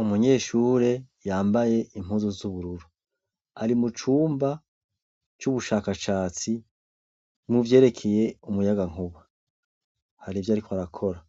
Umunyeshure yambaye impuzu Z’ubururu, ari mucumba c'ubushakashatsi muvyerekeye umuyagankuba. hari ivy'ariko arakora